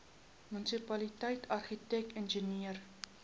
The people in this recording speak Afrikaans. munisipaliteit argitek ingenieur